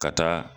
Ka taa